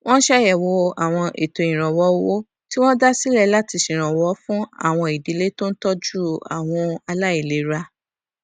wón ṣàyèwò àwọn ètò ìrànwó owó tí wón dá sílè láti ṣèrànwó fún àwọn ìdílé tó ń tójú àwọn aláìlera